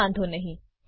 કોઈ વાંધો નહી